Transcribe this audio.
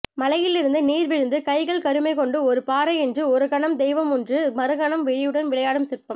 மலையிலிருந்து நீர் வழிந்து கைகள் கருமை கொண்டு ஒரு பாறை என்று ஒருகணமும் தெய்வமென்று மறுகணமும் விழியுடன் விளையாடும் சிற்பம்